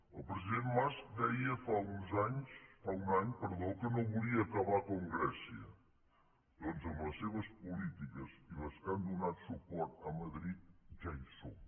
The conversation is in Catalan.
el president mas deia fa un any que no volia acabar com grècia doncs amb les seves polítiques i amb les polítiques a què han donat suport a madrid ja hi som